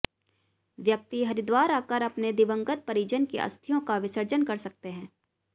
व्यक्ति हरिद्वार आकर अपने दिवंगत परिजन की अस्थियों का विसर्जन कर सकते हैं